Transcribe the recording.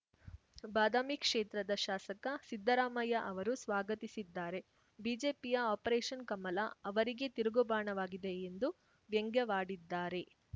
ಬಾದಾಮಿ ಕ್ಷೇತ್ರದ ಶಾಸಕ ಸಿದ್ದರಾಮಯ್ಯ ಅವರು ಸ್ವಾಗತಿಸಿದ್ದಾರೆ ಬಿಜೆಪಿಯ ಆಪರೇಷನ್‌ ಕಮಲ ಅವರಿಗೇ ತಿರುಗುಬಾಣವಾಗಿದೆ ಎಂದು ವ್ಯಂಗ್ಯವಾಡಿದ್ದಾರೆ